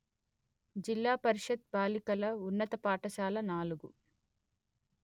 జిల్లా పరిషత్ బాలికల ఉన్నత పాఠశాల నాలుగు